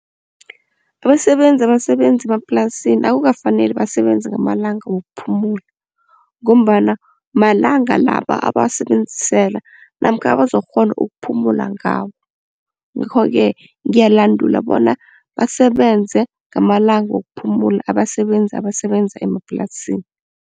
Abasebenzi abasebenza emaplasini akukafaneli basebenze ngamalanga wokuphumula ngombana malanga la abawasebenzisela namkha abazokukghona ukuphumula ngawo. Ngakho-ke ngiyalandula bona basebenze ngamalanga wokuphumula abasebenzi abasebenza emaplasini.